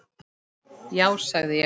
Já sagði ég.